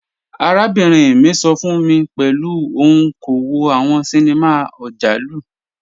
Arábìnrin mi sọ fun mi pẹ̀lú ọun kò wò awọn ṣíníma ọjàlù.